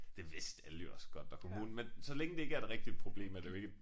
Det vidste alle jo også godt og kommunen men så længe det ikke er et rigtigt problem er det jo ikke et